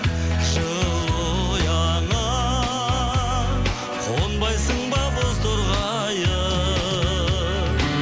жылы ұяңа қонбайсың ба бозторғайым